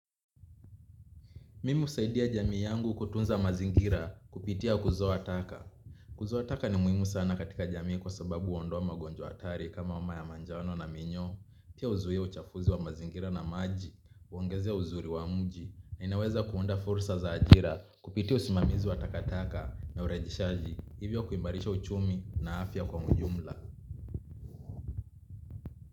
Mimi husaidia jamii yangu kutunza mazingira kupitia kuzoa taka. Kuzoa taka ni muimu sana katika jamii kwa sababu huondoa magonjwa hatari kama homa ya manjano na minyoo. Pia huzuia uchafuzi wa mazingira na maji, huongezea uzuri wa mji, na inaweza kuunda fursa za ajira kupitia usimamizi wa takataka na urejishaji. Hivyo kuimarisha uchumi na afya kwa mjumla.